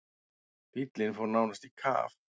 Bíllinn fór nánast í kaf.